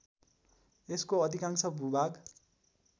यसको अधिकांश भूभाग